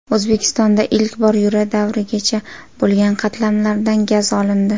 O‘zbekistonda ilk bor yura davrigacha bo‘lgan qatlamlardan gaz olindi.